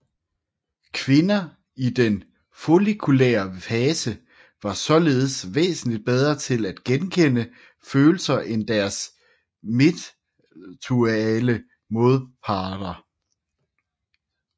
Kvinder i den follikulære fase var således væsentligt bedre til at gekende følelser end deres midtluteale modparter